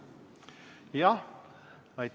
Aitäh!